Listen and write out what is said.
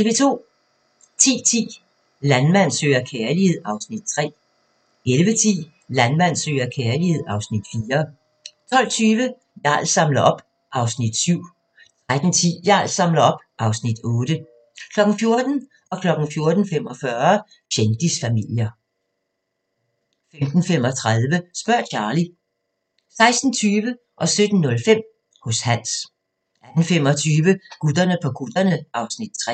10:10: Landmand søger kærlighed (Afs. 3) 11:10: Landmand søger kærlighed (Afs. 4) 12:20: Jarl samler op (Afs. 7) 13:10: Jarl samler op (Afs. 8) 14:00: Kendisfamilier 14:45: Kendisfamilier 15:35: Spørg Charlie 16:20: Hos Hans 17:05: Hos Hans 18:25: Gutterne på kutterne (Afs. 3)